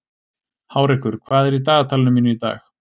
Hárekur, hvað er í dagatalinu mínu í dag?